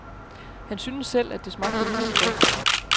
Han syntes selv, at det smagte rimeligt godt.